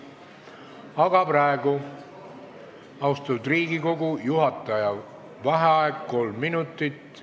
Aga praegu, austatud Riigikogu, juhataja vaheaeg kolm minutit.